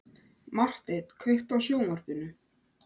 Marteinn, kveiktu á sjónvarpinu.